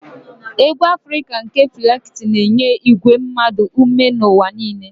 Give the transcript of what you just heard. Egwu afrika nke Fela Kuti na-enye igwe mmadụ ume n'ụwa niile.